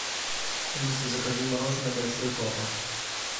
алиса закажи мороженое большой папа